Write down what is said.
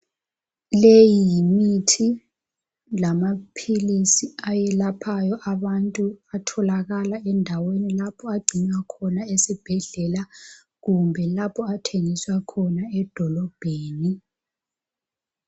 Leyi yimithi lamaphilisi ayelaphayo abantu atholakala endaweni lapho agcinwa khona esibhedlela kumbe lapho athengisa khona edolobheni